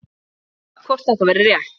Spurt var, hvort þetta væri rétt?